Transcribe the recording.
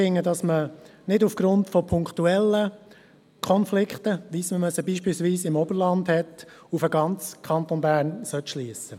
Man sollte nicht von punktuellen Konflikten, wie sie zum Beispiel im Berner Oberland bestehen, auf den ganzen Kanton Bern schliessen.